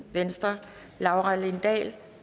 laura lindahl